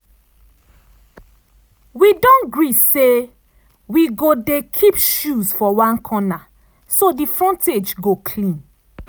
we don gree say we go dey keep shoes for one corner so di frontage go clean.